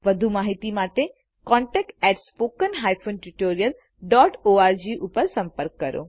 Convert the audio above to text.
વધુ માહિતી માટે contactspoken tutorialorgઉપર સંપર્ક કરો